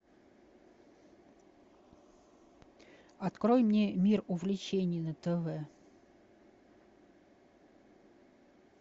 открой мне мир увлечений на тв